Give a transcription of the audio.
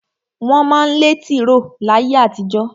Wọ́n má ń lẹ́ tìró láyé àtijó.